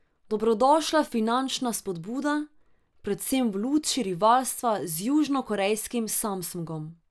Dobrodošla finančna spodbuda, predvsem v luči rivalstva z južnokorejskim Samsungom.